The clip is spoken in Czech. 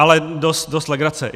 Ale dost legrace.